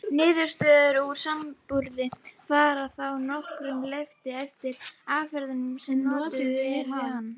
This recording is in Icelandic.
Niðurstöður úr samanburði fara þá að nokkru leyti eftir aðferðinni sem notuð er við hann.